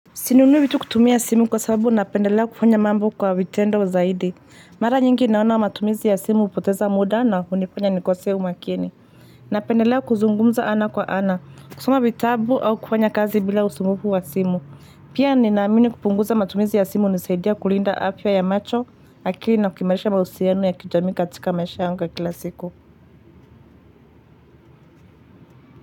Sinunui vitu kutumia simu kwa sababu napendelea kufanya mambo kwa vitendo zaidi. Mara nyingi naona wa matumizi ya simu hupoteza muda na hunifanya nikosee umakini. Napendelea kuzungumza ana kwa ana, kusoma vitabu au kufanya kazi bila usumbufu wa simu. Pia ninaamini kupunguza matumizi ya simu hunisaidia kulinda afya ya macho, akili na kukimalisha mahusiano ya kijamii katika maisha yangu ya kila siku.